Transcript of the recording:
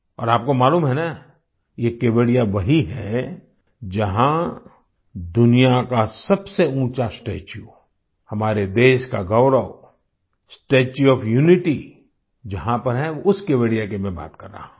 और आपको मालूम है न ये केवड़िया वही है जहाँ दुनिया का सबसे ऊँचा स्टेच्यू हमारे देश का गौरव स्टेच्यू ओएफ यूनिटी जहाँ पर है उस केवड़िया की मैं बात कर रहा हूँ